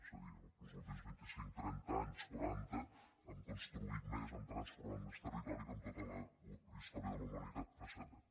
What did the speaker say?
és a dir los últims vinticinc trenta anys quaranta hem construït més hem transformat més territori que en tota la història de la humanitat precedent